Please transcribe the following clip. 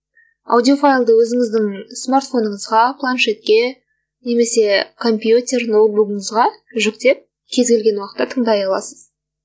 аудиофайлды өзіңіздің смартфоныңызға планшетке немесе компьютер ноутбугіңізге жүктеп кез келген уақытта тыңдай аласыз